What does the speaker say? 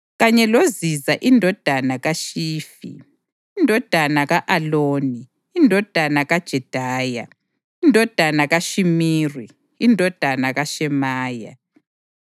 kanye loZiza indodana kaShifi, indodana ka-Aloni, indodana kaJedaya, indodana kaShimiri, indodana kaShemaya.